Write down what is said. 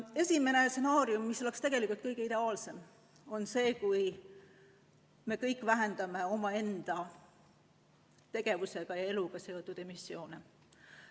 Esimene stsenaarium, mis oleks tegelikult kõige ideaalsem, on see, kui me kõik vähendaksime oma tegevusega, oma eluga seotud emissioone.